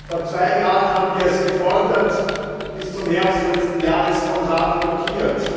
Vor zwei Jahren haben wir es gefordert bis zum Herbst letzten Jahres vom Rat blockiert.